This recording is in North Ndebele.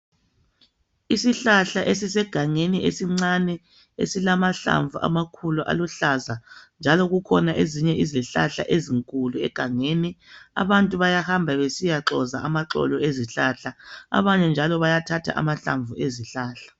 Isihlahla esisegangeni esincane esilamahlamvu amakhulu aluhlaza njalo kukhona ezinye izihlahla ezinkulu egangeni. Abantu bayahamba besiyaxoza amaxolo ezihlahla abanye njalo bayathatha amahlamvu ezihlahla.